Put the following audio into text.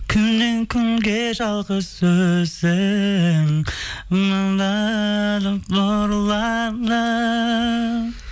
күннен күнге жалғыз өзің нұрланып